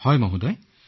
হয় মহোদয়